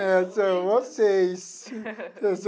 É, são vocês.